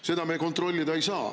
Seda me kontrollida ei saa.